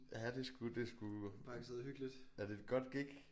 Ja det sgu det sgu ja det et godt gig